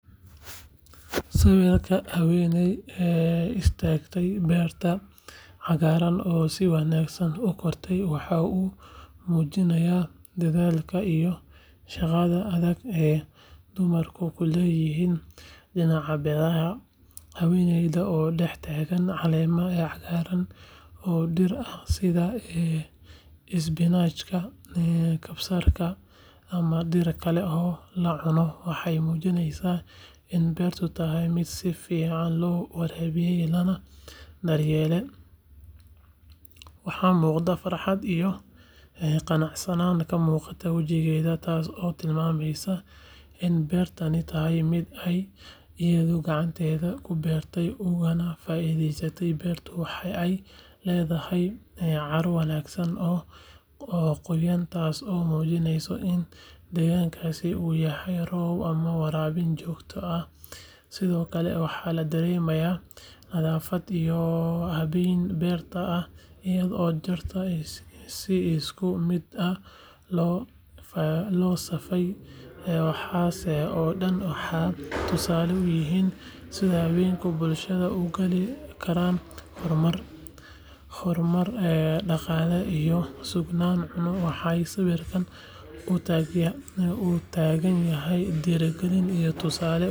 Sawirka haweeney istaagtay beerta cagaaran oo si wanaagsan u kortay waxa uu muujinayaa dadaalka iyo shaqada adag ee dumarku ku leeyihiin dhinaca beeraha haweeneydan oo dhex taagan caleemo cagaaran oo dhir ah sida isbinaajka, kabsarka ama dhir kale oo la cuno waxay muujinaysaa in beertu tahay mid si fiican loo waraabiyay lana daryeelay waxaana muuqata farxad iyo qanacsanaan ka muuqata wajigeeda taasoo tilmaamaysa in beertani tahay mid ay iyadu gacanteeda ku beertay ugana faa’iidaysanayso beertu waxa ay leedahay carro wanaagsan oo qoyan taasoo muujinaysa in deegaankaas uu helay roob ama waraabin joogto ah sidoo kale waxa la dareemayaa nadaafad iyo habeyn beerta ah iyadoo dhirta si isku mid ah loo safay waxaas oo dhan waxay tusaale u yihiin sida haweenka bulshada ugaalin karaan horumar dhaqaale iyo sugnaan cunno waxayna sawirkan u taagan tahay dhiirrigelin iyo tusaale wanaagsa.